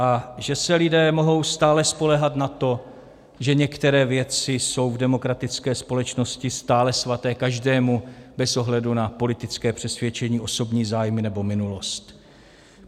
A že se lidé mohou stále spoléhat na to, že některé věci jsou v demokratické společnosti stále svaté každému bez ohledu na politické přesvědčení, osobní zájmy nebo minulost.